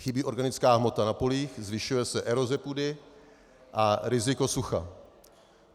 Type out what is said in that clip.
Chybí organická hmota na polích, zvyšuje se eroze půdy a riziko sucha.